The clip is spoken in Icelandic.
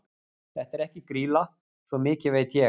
Þetta er ekki Grýla, svo mikið veit ég.